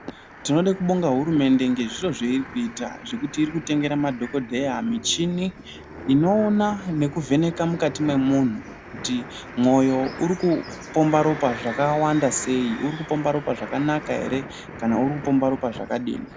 Tinode kubonge hurumende ngezviro zveiri kuita zvekuti iri kutengera madhokodheya michini inoona nekuvheneka mukati mwemuntu kuti mwoyo uri kupomba ropa zvakawanda sei, uri kupomba zvakanaka ere kana kuti uri kupomba zvakadini.